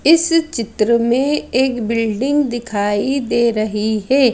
इस चित्र में एक बिल्डिंग दिखाई दे रही है।